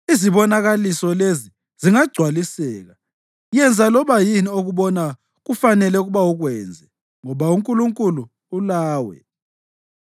Izibonakaliso lezi zingagcwaliseka, yenza loba yini okubona kufanele ukuba ukwenze, ngoba uNkulunkulu ulawe.